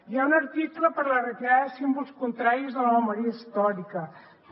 hi ha un article per a la retirada de símbols contraris a la memòria històrica també